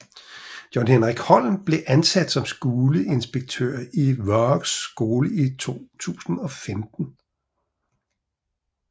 John Hendrik Holm blev ansat som skoleinspektør i Vágs skole i 2015